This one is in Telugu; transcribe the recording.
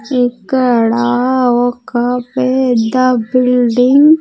ఇక్కడ ఒక పెద్ద బిల్డింగ్ --